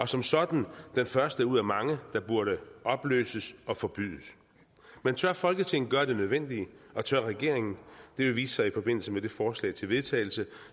som sådan er den en første ud af mange der burde opløses og forbydes men tør folketinget gøre det nødvendige og tør regeringen det vil vise sig i forbindelse med det forslag til vedtagelse